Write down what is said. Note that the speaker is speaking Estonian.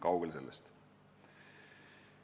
Kaugel sellest.